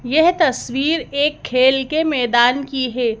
यह तस्वीर एक खेल के मैदान की है।